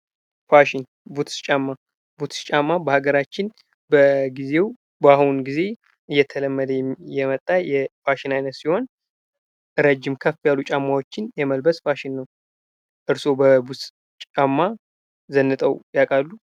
ፋሽን ቡትስ ጫማ ቡትስ ጫማ በአገራችን በጊዜው በአሁን ጊዜ እየተለመደ የመጣ የፋሽን አይነት ሲሆን፤ ረጅም ከፍ ያሉ ጫማዎችን የመልበስ ፋሽን ነው። እርስዎ በቡትስ ጫማ ዘንጠው ያውቃሉ?